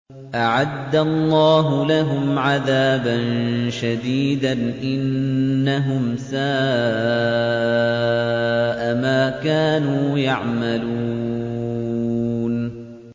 أَعَدَّ اللَّهُ لَهُمْ عَذَابًا شَدِيدًا ۖ إِنَّهُمْ سَاءَ مَا كَانُوا يَعْمَلُونَ